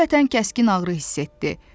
Qəflətən kəskin ağrı hiss etdi.